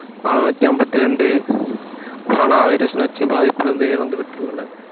நானூத்தி அம்பத்தி ரெண்டு கொரோனா வைரஸ் நச்சு பாதிப்பிலிருந்து இறந்து விட்டுள்ளனர்